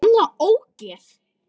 Gamla ógeð!